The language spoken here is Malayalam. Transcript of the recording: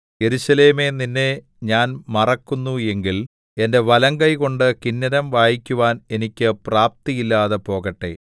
യെരൂശലേമേ നിന്നെ ഞാൻ മറക്കുന്നു എങ്കിൽ എന്റെ വലങ്കൈകൊണ്ട് കിന്നരം വായിക്കുവാന്‍ എനിക്ക് പ്രപ്തിയില്ലാതെ പോകട്ടെ